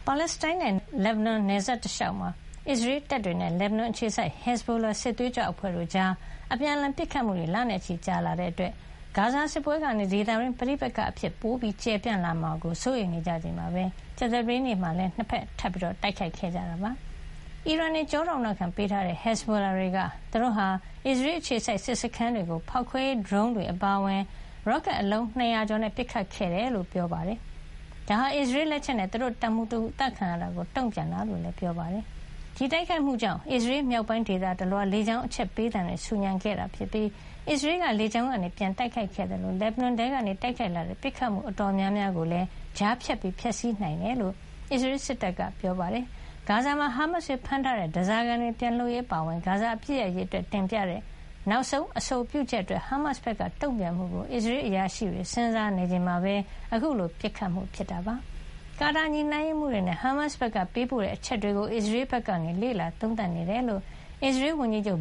ါလက်စတိုင်းနဲ့ လက်ဘနွန်နယ်စပ်တလျှောက်မှာ အစ္စရေးတပ်တွေနဲ့ လက်ဘနွန်အခြေစိုက် ဟက်ဇ်ဘိုလာစစ်သွေးကြွအဖွဲ့တို့ကြား အပြန်အလှန်ပစ်ခတ်နေကြတာ လနဲ့ချီကြာလာတာကြောင့် ဂါဇာစစ်ပွဲကနေ ဒေသတွင်းပဋိပက္ခတွေ ပိုကျယ်ပြန့်လာမှာကို စိုးရိမ်နေကြချိန်မှာပဲ ကြာသပတေးနေ့ကလည်း နှစ်ဘက် ထပ်မံ တိုက်ခိုက်ခဲ့ကြပါတယ်။ အီရန်တွေ ကျောထောက်နောက်ခံပေးထားတဲ့ ဟက်ဇ်ဘိုလာတွေက သူတို့ဟာ အစ္စရေးအခြေစိုက်စခန်းတွေကို ဖေါက်ခွဲရေးဒရုန်းတွေ အပါအဝင် ရော့ကက် အလုံး ၂၀၀ ကျော်နဲ့ပစ်ခတ်ခဲ့တယ်လို့ ပြောပါတယ်။ ဒါဟာ အစ္စရေးလက်ချက်နဲ့ သူတို့ရဲ့တပ်မှူးတဦး အသတ်ခံရတာကို တုံ့ပြန်တာဖြစ်ကြောင်း ဟစ်ဇဘိုလာဘက်က ပြောပါတယ်။ ဒီတိုက်ခိုက်မှုကြောင့် အစ္စရေးမြောက်ပိုင်းဒေသတလွှား လေကြောင်းအချက်ပေးသံတွေနဲ့ ဆူညံသွားခဲ့ပြီး အစ္စရေးက လေကြောင်းကနေ ပြန်လှန်တိုက်ခိုက်ခဲ့သလို လက်ဘနွန်ထဲကနေ တိုက်ခိုက်လာတဲ့ ပစ်ခတ်မှု အတော်များများကိုလည်း ကြားဖြတ်ဖျက်ဆီးနိုင်ခဲ့တယ်လို့ အစ္စရေး စစ်တပ်က ပြောပါတယ်။ ဂါဇာမှာ ဟာမတ်စ်တွေဖမ်းထားတဲ့ ဓါးစားခံတွေ ပြန်လွှတ်ရေး အပါအဝင် ဂါဇာ အပစ်ရပ်ရေးအတွက်တင်ပြတဲ့ နောက်ဆုံးအဆိုပြုချက် အတွက် ဟာမတ်စ်ဘက်ကတုံ့ပြန်မှုကို အစ္စရေးအရာရှိတွေ စဉ်းစားနေချိန်မှာပဲ အခုလို ပစ်ခတ်မှုဖြစ်ခဲ့တာပါ။ ကာတာညှိနှိုင်းရေးမှူးတွေနဲ့ ဟာမတ်စ်ဘက်ကပေးပို့တဲ့အချက်တွေကို အစ္စရေးဘက်က လေ့လာသုံးသပ်နေတယ်လို့ အစ္စရေးဝန်ကြီးချုပ်